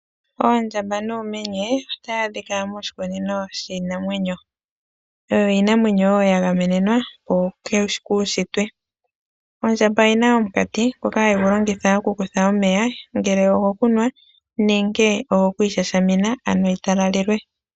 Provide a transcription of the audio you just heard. Oondjamba noomenye ohayi adhika moshikunino shiinamwenyo oyo iinamwenyo wo ya gamenenwa po kuushitwe ondjaamba oyina omukati ngoka hagu yi longitha okukutha omeya ngele ogo kunwa nenge gokwiishashamina anoyi talalelwe.